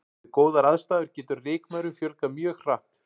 Við góðar aðstæður getur rykmaurum fjölgað mjög hratt.